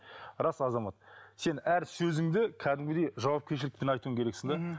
рас азамат сен әр сөзіңді кәдімгідей жауапкершілікпен айтуың керексің де мхм